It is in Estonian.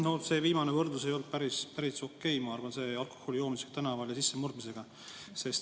Ma arvan, et teie viimane võrdlus ei olnud päris okei, see alkoholi joomine tänaval ja sissemurdmine.